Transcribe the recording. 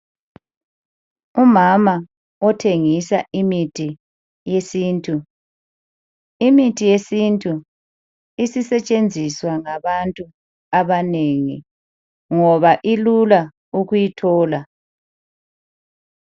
Umama othengisa imithi yesintu, imithi yesintu isisetshenziswa ngabantu abanengi ngoba ilula ukuyithola.